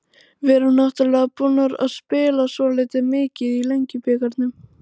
Við erum náttúrulega búnar að spila svolítið mikið í Lengjubikarnum.